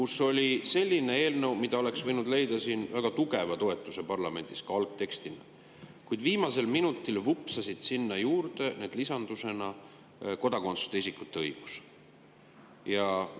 Seal oli eelnõu sellise algtekstiga, mis oleks võinud leida väga tugeva toetuse ka parlamendis, kuid viimasel minutil vupsas sinna lisandusena juurde kodakondsuseta isikute õigus.